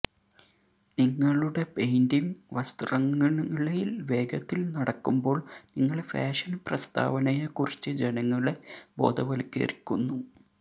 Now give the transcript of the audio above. നിങ്ങളുടെ പെയിന്റിംഗ് വസ്ത്രങ്ങളിൽ വേഗത്തിൽ നടക്കുമ്പോൾ നിങ്ങൾ ഫാഷൻ പ്രസ്താവനയെക്കുറിച്ച് ജനങ്ങളെ ബോധവത്കരിക്കുന്നു